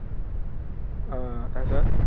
আহ তাৰ পিছত?